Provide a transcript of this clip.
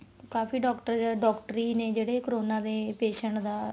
ਕਾਫੀ doctor doctor ਈ ਨੇ ਜਿਹੜੇ corona ਦੇ patient ਦਾ